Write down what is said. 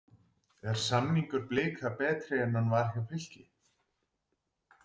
Er samningur Blika betri en hann var hjá Fylki?